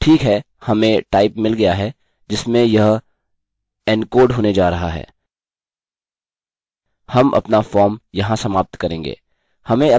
ठीक है हमें type मिल गया है जिसमें यह एनकोड होने जा रहा है हम अपना फॉर्म यहाँ समाप्त करेंगे